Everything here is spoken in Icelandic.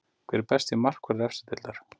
Hver er besti markvörður efstu deildar?